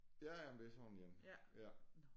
Ja ja men det er sådan én